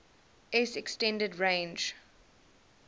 s extended range